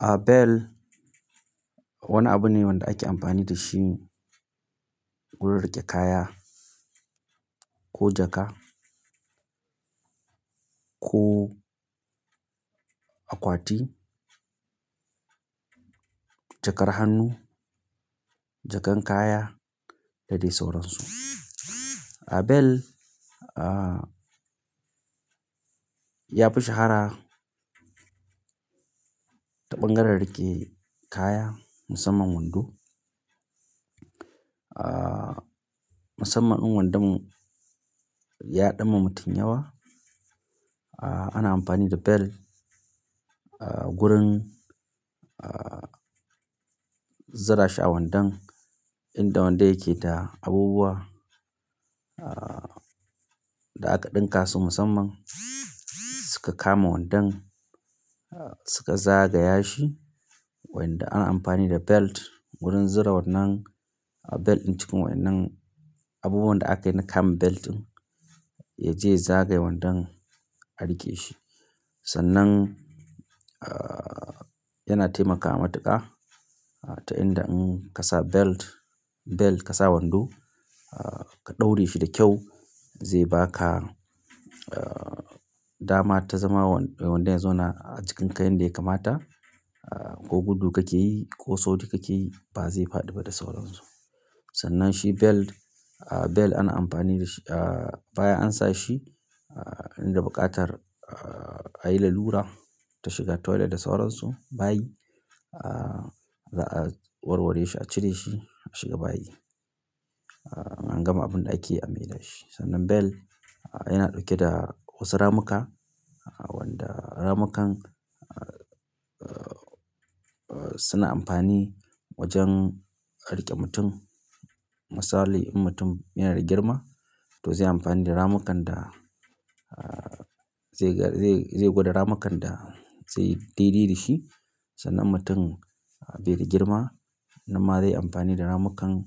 A bell wani abu ne wanda ake amfani da shi wurin rike kaya ko jaka ko akwati, jakar hannu, jakan kaya dadai sauran su. A belt ya fi shahara ta ɓangaren riƙe kaya musamman wando. Musamman in wandonmu yaɗan ma mutum yawa. Ana amfani da belt wurin zura shi a wandon inda wandon yake da abubuwa da aka ɗinka su musamman suka kama wandon, suka zagaya shi. Wanda an yi amfani da belt wurin zura wannan belt ɗin cikin wannan abubuwan da aka yi na kam belt ɗin ya je ya zagaye wandon a riƙe shi. Sannan yana taimakawa matuƙa ta inda in ka sa belt, belt ka sa wando ka ɗaure shi da kyau, zai baka dama ta zama wandon ya zauna a cikin kayan da yake mata ko gudu kakeyi ko sauri kakeyi ba zai faɗi ba da sauransu. Sannan shi belt, belt ana amfani da shi baya an sa shi inda buƙatar a yi la lura ta shiga toilet da sauran su bayi za'a warware shi, a cire shi, a shiga bayi an gama abun da ake yi an yi da shi. Sannan belt yana ɗauke da wasu ramuka wanda ramukan suna amfani wajen riƙe mutum. Misali in mutum yana da girma to zai yi amfani da ramukan da zai, zai gwada ramukan da zai yi daidai da shi. Sannan mutum bai da girma na ma zai yi amfani da ramukan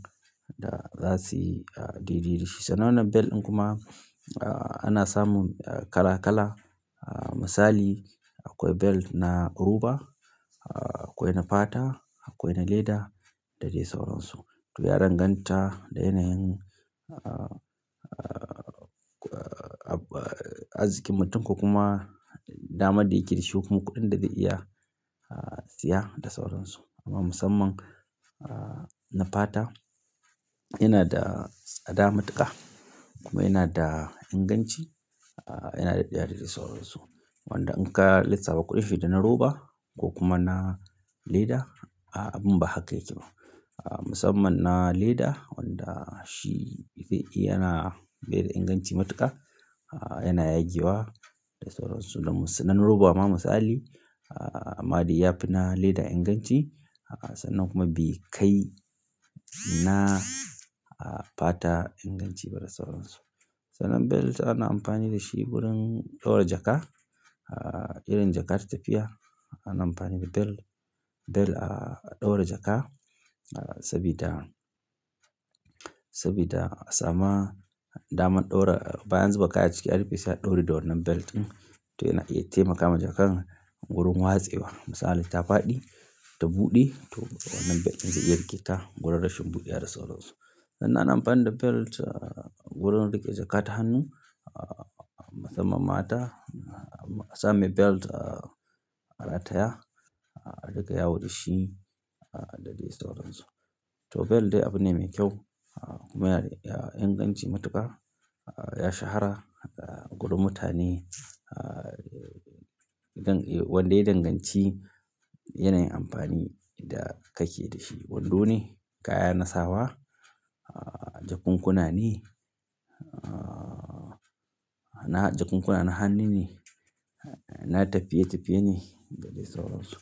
da za su yi daidai da shi. Sannan wannan belt ɗin kuma ana samun kala kala. Misali akwai belt na roba, akwai na fata, akwai na leda dadai sauran su. To ya danganta da yanayin azikin mutum kuma dama da yake da shi ko kuɗin da zai iya siya da sauran su. Amma musamman na fata yana da tsada matuƙa kuma yana da inganci yana da dadai sauran su. Wanda in ka lissafa kuɗin shi da na roba ko kuma na leda abun ba haka yake ba. Musamman na leda wanda shi itace yana bai da inganci matuƙa yana yagiwa da sauran su. Dan roba ma misali, amma dai ya fi na leda inganci. Sannan kuma be kai na fata inganci ba da sauran su. Sannan belt ana amfani da shi wurin ɗaura jaka. Idan jaka ta tafiya ana amfani da belt, belt a ɗaura jaka saboda, saboda sama naman ɗaura baya an zuba kaya a ciki har fiye sa ɗaure da wannan belt ɗin. To yana, ya taimakawa jakar wurin watsewa. Misali ta faɗi ta buɗe to wannan belt ɗin zai riƙe ta gwargwadon shin buɗe da sauran su. Sannan ana amfani da belt wurin riƙe jaka ta hannu musamman mata. Sa mai belt a rataya, a riƙe yawu da shi dadai sauran su. To belt dai abu ne mai kyau kuma yana da inganci matuƙa. Ya shahara gudu mutane. Wanda ya yi danganci yanayin amfani da kake da shi. Wando ne, kaya na sawa, jakunkuna ne, na jakunkuna na hannu ne, na tafiye tafiye ne dadai sauran su.